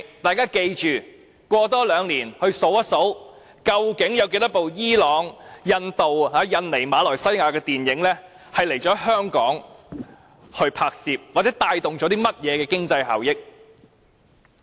大家切記要在兩年後數算一下，究竟有多少部伊朗、印度、印尼、馬來西亞電影曾來港進行拍攝，又或從中帶來了甚麼經濟效益。